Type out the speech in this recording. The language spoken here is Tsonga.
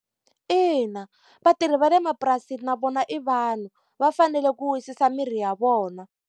Ina vatirhi va le mapurasini na vona i vanhu, va fanele ku wisisa miri ya vona.